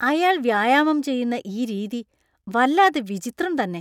അയാൾ വ്യായാമം ചെയ്യുന്ന ഈ രീതി വല്ലാതെ വിചിത്രം തന്നെ.